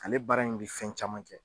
Ale baara in bi fɛn caman kɛ.